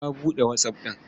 Ta buɗe WhatsApp ɗin.